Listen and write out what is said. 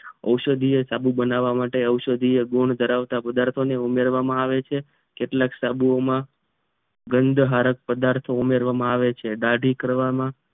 ઔષધીય સાબુ બનવા માટે ઔષધીય ગુણો ધરાવતા પદાર્થો ને ઉમેરવામાં આવે છે કેટલાક સાબુ માં ગંદહરક પદાર્થો ને ઉમેરવામાં આવે છે દાઢી કરવામાં